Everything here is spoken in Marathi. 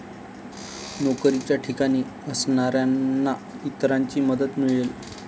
नोकरीच्या ठिकाणी असणाऱ्यांना इतरांची मदत मिळेल.